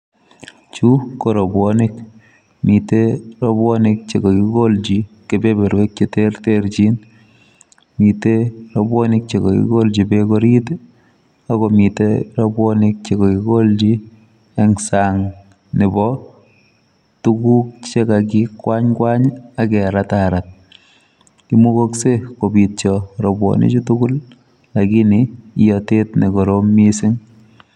Chu, ko robwonik. Mitei robwonik che kakigolchi kebeberwek che terterchin. Mitei robwonik che kakigolchi beek orit, ago mitei robwonik che kakigolchi eng' sang' nebo tuguk che kakikwany kwany, ageratarat. Imugakseiy kobityo robwonik chu tugul lakini iyatet ne korom missing